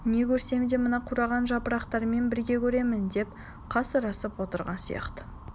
не көрсем де мына қураған жапырақтармен бірге көремін деп қасарысып отырған сияқты